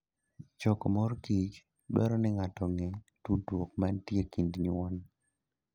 Choko mor kich dwaro ni ng'ato ong'e tudruok mantie e kind nyuon.